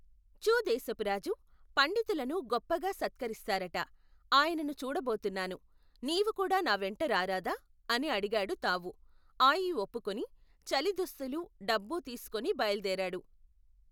చూ దేశపురాజు, పండితులను గొప్పగా సత్కరిస్తారట, ఆయనను చూడబోతున్నాను, నీవుకూడా నావెంట రారాదా, అని అడిగాడు తావూ, ఆయీ ఒప్పుకుని, చలి దుస్తులూ, డబ్బూ తీసుకుని బయలుదేరాడు.